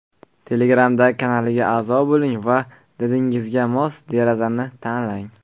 Telegramdagi kanaliga a’zo bo‘ling va didingizga mos derazalarni tanlang.